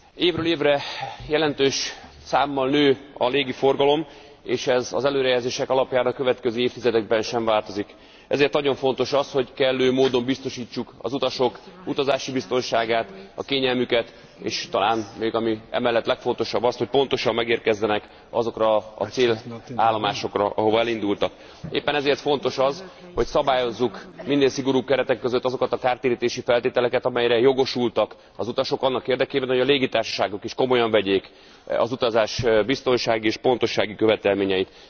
Évről évre jelentősen nő a légi forgalom, és ez az előrejelzések alapján a következő évtizedekben sem változik, ezért nagyon fontos az, hogy kellő módon biztosítsuk az utasok utazási biztonságát, a kényelmüket, és talán még ami emellett legfontosabb azt, hogy pontosan megérkezzenek azokra a célállomásokra, ahova elindultak. Éppen ezért fontos az, hogy szabályozzuk minél szigorúbb keretek között azokat a kártérítési feltételeket, amelyekre jogosultak az utasok annak érdekében, hogy a légitársaságok is komolyan vegyék az utazás biztonsági és pontossági követelményeit.